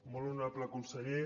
molt honorable conseller